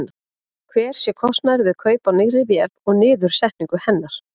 Hver sé kostnaður við kaup á nýrri vél og niðursetningu hennar?